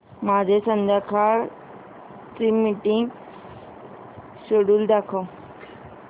माझे संध्याकाळ चे मीटिंग श्येड्यूल दाखव